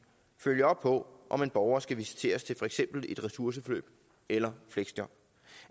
følge op på om en borger skal visiteres til for eksempel et ressourceforløb eller fleksjob